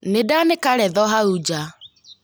Nĩ ndaanĩka retho hau nja